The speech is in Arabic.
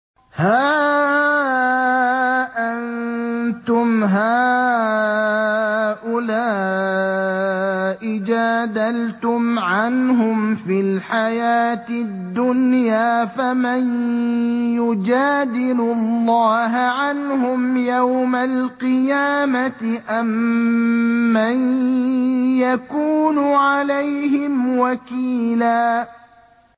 هَا أَنتُمْ هَٰؤُلَاءِ جَادَلْتُمْ عَنْهُمْ فِي الْحَيَاةِ الدُّنْيَا فَمَن يُجَادِلُ اللَّهَ عَنْهُمْ يَوْمَ الْقِيَامَةِ أَم مَّن يَكُونُ عَلَيْهِمْ وَكِيلًا